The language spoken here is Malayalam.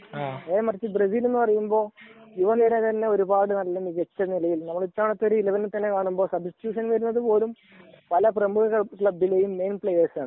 നേരെ മരിച്ചു ബ്രസീൽ എന്ന് പറയുമ്പോൾ യുവ നിര തന്നെ ഒരുപാട് മികച്ച പല പ്രമുഖ ക്ളബ്ബിലെയും മികച്ച പ്ലയെർസ് ആണ്